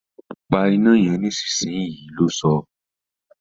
Pa iná yen nísinsìnyí! lo sọ́